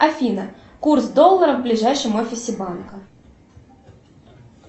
афина курс доллара в ближайшем офисе банка